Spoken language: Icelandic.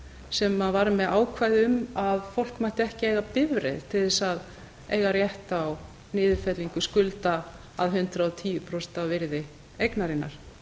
sem var með ákvæði um að fólk mætti ekki eiga bifreið til þess að eiga rétt á niðurfellingu skulda að hundrað og tíu prósent af virði eignarinnar